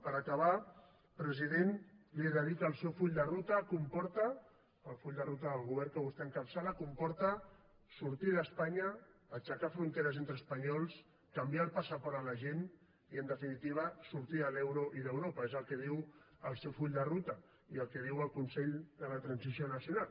per acabar president li he de dir que el seu full de ruta comporta el full de ruta del govern que vostè encapçala comporta sortir d’espanya aixecar fronteres entre espanyols canviar el passaport a la gent i en definitiva sortir de l’euro i d’europa és el que diu el seu full de ruta i el que diu el consell per a la transició nacional